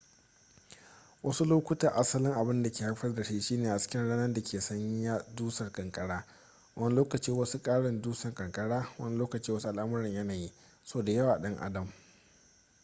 wasu lokuta asalin abin da ke haifar da shi shine hasken rana da ke sanya dusar ƙanƙara wani lokacin wasu ƙarin dusar ƙanƙara wani lokacin wasu al'amuran yanayi sau da yawa ɗan adam